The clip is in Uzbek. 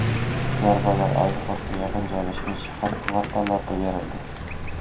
Zarbalar aeroportga yaqin joylashgan shahar kvartallariga berildi.